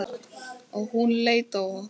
Og hún leit á okkur.